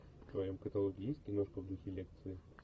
в твоем каталоге есть киношка в духе лекции